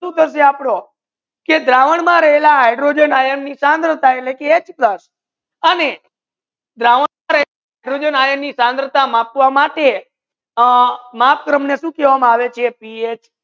સુ થાસે આપડો કે ગ્રાવન મા રાહેલા હાઇડ્રોજન આયન ની શંભલતા H Two પ્લસ અને ગ્રાવન હાઇડ્રોજન આયન ની મપવા માતે માત્ર ને સુ કહેવમા આવે પીએચ